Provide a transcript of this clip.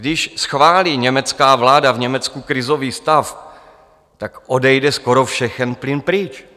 Když schválí německá vláda v Německu krizový stav, tak odejde skoro všechen plyn pryč.